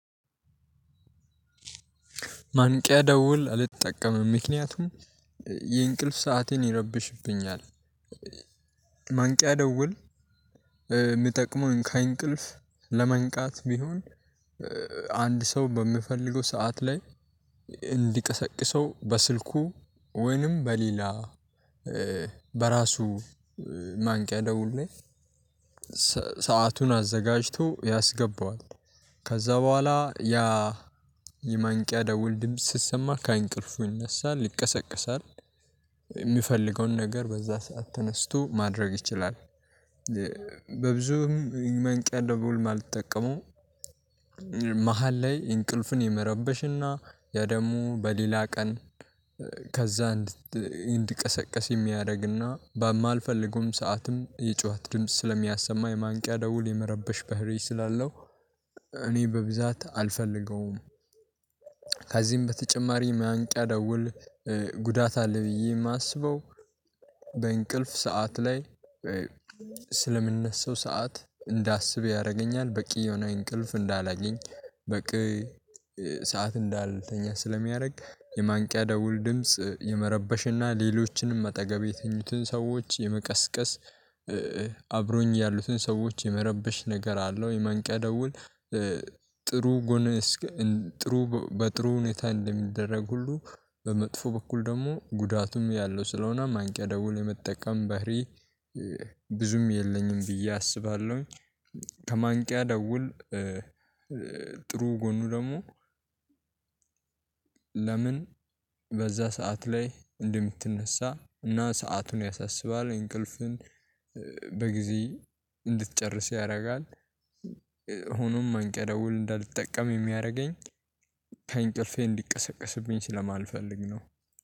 ማንቂያ ደውል አልተጠቀምም ምክንያቱም የእንቅልፍ ሰአቴን ይረብሽብኛል። ማንቂያ ደውል የሚጠቅመው ከእንቅልፍ ለመንቃት ቢሆን አንድ ሰው በምፈልገው ሰዓት ላይ እንዲቀሰቅሰው በስልኩ ወይንም በሌላ በራሱ ማንቂያ ደውል ላይ ሰአቱን አዘጋጅቶ ያስገባዋል። ከዛ በኋላ ያ የማንቂያ ደውል ድምጽ ሲሰማ ከእንቅልፉ ይነሳል ይቀሰቀሳል የሚፈልገውን ነገር በዛ ሰዓት ተነስቶ ማድረግ ይችላል። በብዙም ማንቂያ ደውል የማልጠቀመው መሃል ላይ እንቅልፍን የመረበሽና ደግሞ በሌላ ቀን ከዛ እንዲቀሰቅስ የሚያደርግና በማልፈልገውም ሰዓትም የጩኸት ድምጽ ስለሚያሰማ የማንቂያ ደውል የመረበሽ ባህሪ ስላለው እኔ በብዛት አልፈልገውም። ከዚህም በተጨማሪ ማንቂያ ደውል ጉዳት አለ ብዬ የማስበው። በእንቅልፍ ሰዓት ላይ ስለምንነሳው ሰዓት እንዳስብ ያደርገኛል በቂ የሆነ እንቅልፍ እንዳላገኝ በቂ ሰዓት እንዳልተኛ ስለሚያደርግ የማንቂያ ደውል ድምጽ የመረበሽና ሌሎችንም አጠገብ የተኙትን ሰዎች የመቀስቀስ አብረውኝ ያሉትን ሰዎች የመረበሽ ነገር አለው። የማንቂያ ደውል ጥሩ ጎን ጥሩ በጥሩ ሁኔታ እንደሚደረግ ሁሉ በመጥፎ በኩል ደግሞ ጉዳቱም ያለው ስለሆነ ማንቂያ ደውል የመጠቀም ባህሪ ብዙም የለኝም ብዬ አስባለሁኝ። ከማንቂያ ደውል ጥሩ ጎኑ ደግሞ ለምን በዛ ሰዓት ላይ እንደምትነሳ እና ሰአቱን ያሳስባል እንቅልፍን በጊዜ እንድትጨርስ ያደርጋል። ሆኖም ማንቂያ ደውል እንዳልጠቀም የሚያደርገኝ ከእንቅልፌ እንዲቀሰቀስብኝ ስለማልፈልግ ነው